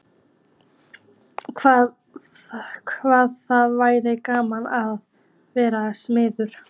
Hvað það væri gaman að vera smiður.